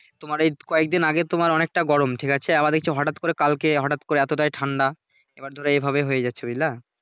তোমার এই কয়েকদিন আগে তোমার অনেকটা গরম ঠিক আছে আবার দেখছি হঠাৎ করে কালকে হঠাৎ করে এতোটাই ঠান্ডা এবার ধরো এইভাবে হয়ে যাচ্ছে বুঝলা ।